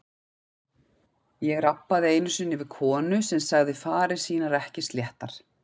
Ég rabbaði einu sinni við konu sem sagði farir sínar ekki sléttar.